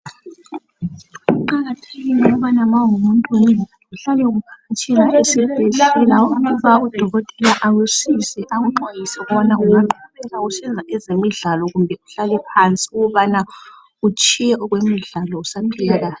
Kuqakathekile ma ungumuntu uhlala usiya esibhedlela usiya hlolwa Udokotela akusize nxa kusenzwa ezemidlalo kumbe uhlalephansi utshiye ezemidlalo.